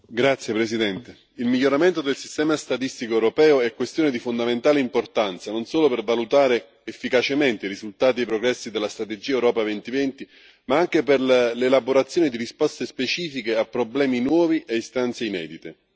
Signor Presidente, onorevoli colleghi, il miglioramento del sistema statistico europeo è questione di fondamentale importanza, non solo per valutare efficacemente i risultati e i progressi della strategia Europa 2020, ma anche per l'elaborazione di risposte specifiche a problemi nuovi e istanze inedite.